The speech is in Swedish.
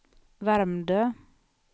Värmdö